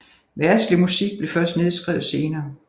Verdslig musik blev først nedskrevet senere